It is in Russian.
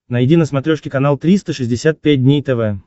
найди на смотрешке канал триста шестьдесят пять дней тв